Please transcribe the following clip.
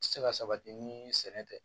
Se ka sabati ni sɛnɛ tɛ